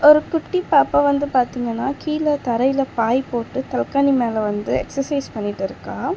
ஒரு குட்டி பாப்பா வந்து பாத்தீங்கன்னா கீழ தரையில பாய் போட்டு தலகாணி மேல வந்து எக்சர்சைஸ் பண்ணிட்டிருக்கா.